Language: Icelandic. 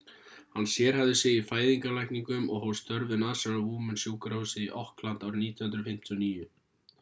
hann sérhæfði sig í fæðingarlækningum og hóf störf við national women-sjúkrahúsið í auckland árið 1959